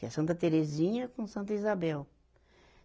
Que é a Santa Terezinha com Santa Isabel.